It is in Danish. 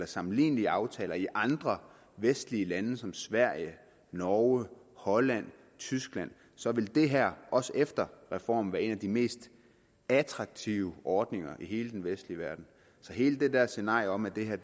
sammenlignelige aftaler i andre vestlige lande som sverige norge holland og tyskland så vil det her også efter reformen være en af de mest attraktive ordninger i hele den vestlige verden så hele det der scenarie om at det her